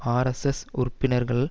RSS உறுப்பினர்கள்